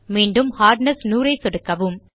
மீண்டும் ஹார்ட்னெஸ் 100 ஐ சொடுக்கவும்